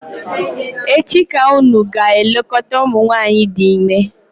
echi ka unu ga-elekọta umunwanyi di ime!